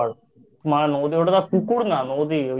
ওটা তো পুকুর না নদী